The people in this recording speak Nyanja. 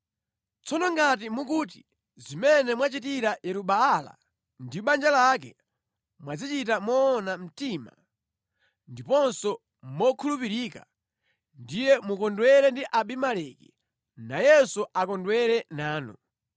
Tsono ngati mukuti zimene mwachitira Yeru-Baala ndi banja lake mwazichita moona mtima ndiponso mokhulupirika, ndiye mukondwere ndi Abimeleki, nayenso akondwere nanu!